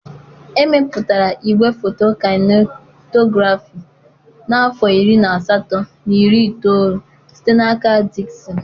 Emepụtara igwefoto Kainetografị n'afọ iri na asatọ na iri itoolu site n'aka Diksịn.